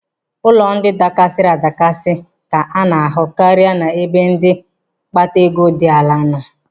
Ụlọ ndị dakasiri adakasi ka a na-ahụ karị n'ebe ndị mkpata ego dị ala nọ.